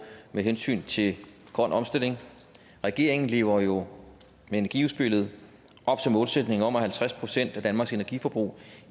med hensyn til grøn omstilling regeringen lever jo med energiudspillet op til målsætningen om at halvtreds procent af danmarks energiforbrug